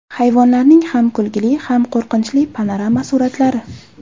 Hayvonlarning ham kulgili, ham qo‘rqinchli panorama suratlari .